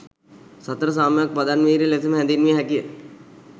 සතර සම්‍යක් පදන් වීර්ය ලෙසම හැදින්විය හැකිය.